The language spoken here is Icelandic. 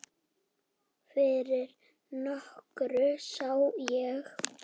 Fyrir nokkru sá ég